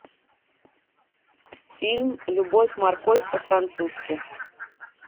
фильм любовь морковь по французски